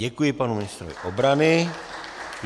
Děkuji panu ministrovi obrany.